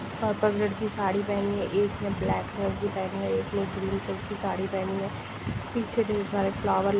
purple colour की साड़ी पहनी है एक ने ब्लैक कलर की पहनी है एक ने ब्लू कलर की साड़ी पहनी है पीछे ढेर सारे फ्लावर--